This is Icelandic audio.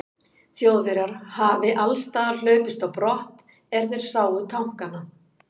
Þjóðverjar hafi allsstaðar hlaupist á brott, er þeir sáu tankana.